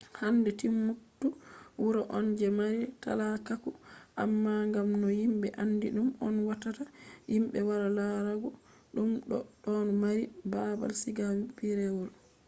hande timbuktu wuro on je mari talakaku amma ngam no yimbe aandi ɗum on watta yimbe wara larugo ɗum bo ɗon mari baabal siga pireewol